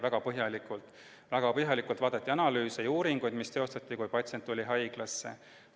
Väga põhjalikult vaadati analüüse ja uuringuid, mis tehti, kui patsient tuli haiglasse.